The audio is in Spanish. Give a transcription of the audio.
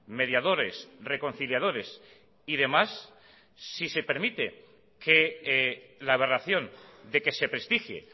mediadores reconciliadores y demás si se permite que la aberración de que se prestigie